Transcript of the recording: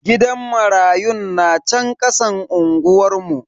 Gidan marayun na chan kasan unguwar mu.